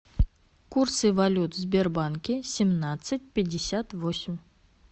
курсы валют в сбербанке семнадцать пятьдесят восемь